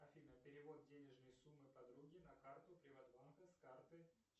афина перевод денежной суммы подруге на карту приватбанка с карты